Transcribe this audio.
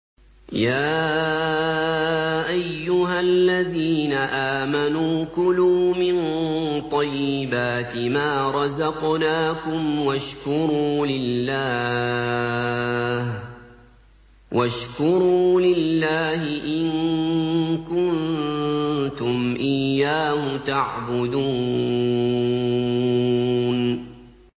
يَا أَيُّهَا الَّذِينَ آمَنُوا كُلُوا مِن طَيِّبَاتِ مَا رَزَقْنَاكُمْ وَاشْكُرُوا لِلَّهِ إِن كُنتُمْ إِيَّاهُ تَعْبُدُونَ